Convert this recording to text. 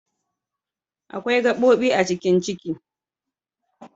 Akwai gabobi a cikin Ciki.